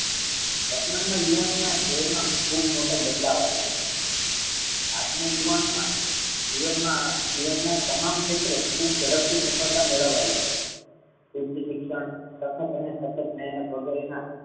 વર્તમાન મા યુવાન ના જીવન મા ખૂબ મોટો બદલાવ આવ્યો છે આજના યુવાનો મા જીવન ના તમામ ક્ષેત્રે ખૂબ ઝડપથી સફળતા મેળવાઈ છે. શિક્ષણ અથાક અને સાથક મેહનત વગર એ ના